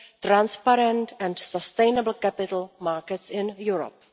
transparent and sustainable capital markets in Europe.